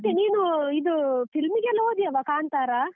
ಮತ್ತೆ ನೀನು ಇದು film ಗೆಲ್ಲ ಹೊದ್ಯವ ಕಾಂತಾರ?